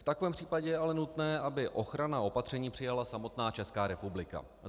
V takovém případě je ale nutné, aby ochranná opatření přijala samotná Česká republika.